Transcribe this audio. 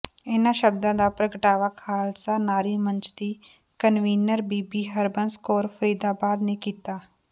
ਇੰਨ੍ਹਾਂ ਸ਼ਬਦਾਂ ਦਾ ਪ੍ਰਗਟਾਵਾ ਖਾਲਸਾ ਨਾਰੀ ਮੰਚ ਦੀ ਕਨਵੀਨਰ ਬੀਬੀ ਹਰਬੰਸ ਕੌਰ ਫਰੀਦਾਬਾਦ ਨੇ ਕੀਤਾ